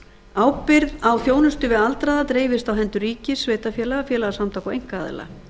ábyrgð á þjónustu við aldraða dreifist á hendur ríkis sveitarfélaga félagasamtaka og einkaaðila